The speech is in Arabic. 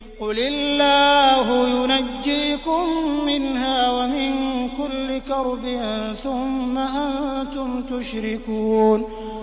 قُلِ اللَّهُ يُنَجِّيكُم مِّنْهَا وَمِن كُلِّ كَرْبٍ ثُمَّ أَنتُمْ تُشْرِكُونَ